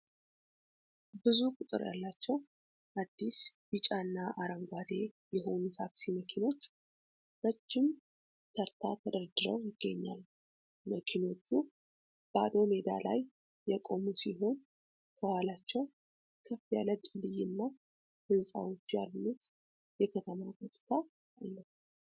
ብዙ ቁጥር ያላቸው አዲስ ቢጫ እና አረንጓዴ የሆኑ ታክሲ መኪኖች ረጅም ተርታ ተደርድረው ይገኛሉ። መኪኖቹ ባዶ ሜዳ ላይ የቆሙ ሲሆን፣ ከኋላቸው ከፍ ያለ ድልድይና ህንጻዎች ያሉት የከተማ ገጽታ አለ።